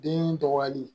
Den tɔgɔya di